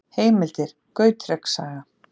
Heimildir: Gautreks saga.